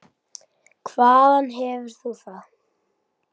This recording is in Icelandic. Hvaðan hefur þú það?